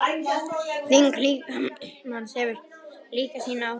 Þyngd líkamans hefur líka sín áhrif.